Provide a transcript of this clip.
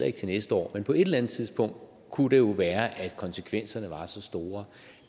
ikke til næste år men på et eller andet tidspunkt kunne det jo være at konsekvenserne var så store